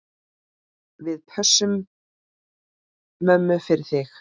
Við pössum mömmu fyrir þig.